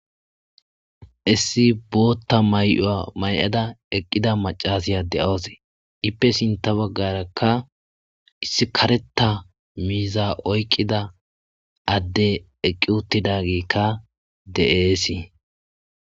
issi bootta may7a may7ada eqqida macasiya de7oosee ippe sinta baggarakka issi kareta miiza oykqida adde eqqi uttidagikka de7eesii